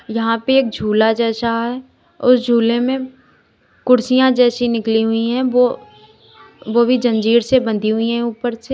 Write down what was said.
यहां पे एक झूला जैसा है उस झूले में कुर्सियां जैसी निकली हुई है वो वो भी जंजीर से बंधी हुई है ऊपर से।